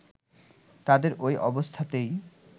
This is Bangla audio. তাদের ওই অবস্থাতেই